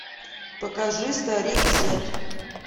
покажи старик зет